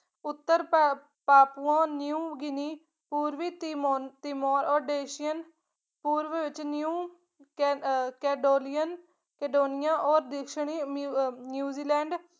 ਉੱਤਰ ਭਰ Papua new Guinea ਪੂਰਵੀ ਤਿਮੋ ਤਿਮੋਰ ਔਡੇਂਸ਼ੀਅਨ ਪੂਰਵ ਵਿੱਚ new ਕੈਨ ਅਹ ਕੈਡੋਲੀਅਨ ਕੈਡੋਨੀਆ ਔਰ ਦਸ਼ਣੀ ਨਿ ਅਹ ਨਿਊਜ਼ੀਲੈਂਡ